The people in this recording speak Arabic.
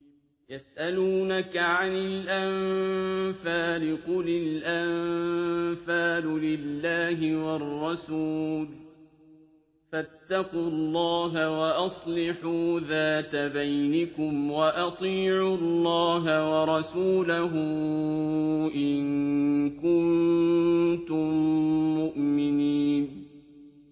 يَسْأَلُونَكَ عَنِ الْأَنفَالِ ۖ قُلِ الْأَنفَالُ لِلَّهِ وَالرَّسُولِ ۖ فَاتَّقُوا اللَّهَ وَأَصْلِحُوا ذَاتَ بَيْنِكُمْ ۖ وَأَطِيعُوا اللَّهَ وَرَسُولَهُ إِن كُنتُم مُّؤْمِنِينَ